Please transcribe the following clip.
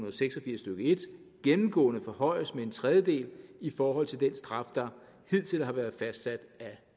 og seks og firs stykke en gennemgående forhøjes med en tredjedel i forhold til den straf der hidtil har været fastsat af